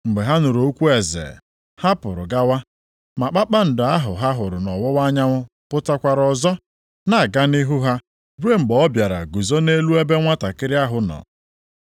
Mgbe ha nụrụ okwu eze, ha pụrụ gawa, ma kpakpando ahụ ha hụrụ nʼọwụwa anyanwụ pụtakwara ọzọ, na-aga nʼihu ha ruo mgbe ọ bịara guzo nʼelu ebe nwantakịrị ahụ nọ.